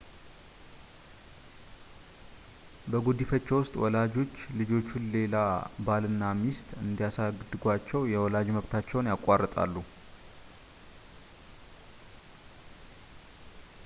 በጉዲፈቻ ውስጥ ወላጆች ልጆቹን ሌላ ባልና ሚስት እንዲያሳድጓቸው የወላጅ መብታቸውን ያቋርጣሉ